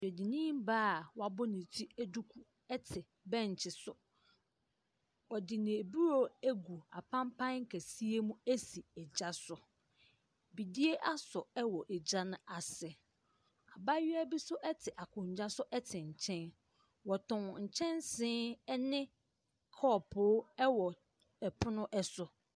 Dwadini baa a wabɔ ne ti duku te bench so. Ɔde n’aburo agu apampan kɛseɛ mu asi gya so. Bidie asɔ wɔ gya no ase. Abaayewa bi nso te akonnwa so te nkyɛn. Wɔtɔn nkyɛnse ne kɔɔpo wɔ pono so.